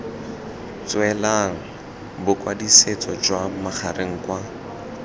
tswelang bokwadisetso jwa magareng kwa